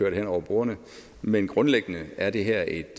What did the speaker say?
hen over bordene men grundlæggende er det her et